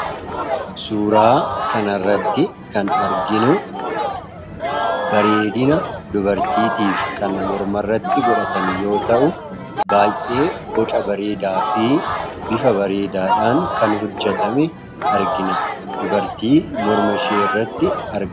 suuraa kan irratti kan arginu bareedina dubartiitiif kan morma irratti godhatan yoo ta'u baay'ee boca bareedaa fi bifa bareedaadhaan kan hujjetame argina dubartii mormashee irratti arge